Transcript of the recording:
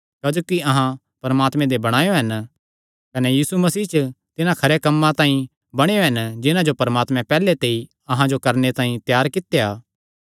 क्जोकि अहां परमात्मे दे बणायो हन कने यीशु मसीह च तिन्हां खरेयां कम्मां तांई बणायो हन जिन्हां जो परमात्मैं पैहल्ले ते अहां दे करणे तांई त्यार कित्यो